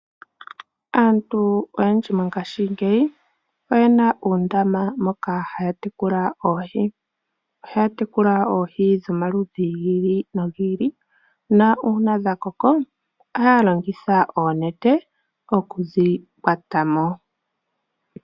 Aantu oyendji mongashingeyi oye na oondama moka haya tekula oohi. Ohaya tekula oohi dhomaludhi gi ili nogi ili na una dha koko ohqa longitha onene okudhi kwata mo.